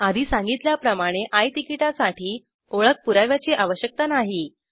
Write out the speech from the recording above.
आधी सांगितल्याप्रमाणे आय तिकीटासाठी ओळख पुराव्याची आवश्यकता नाही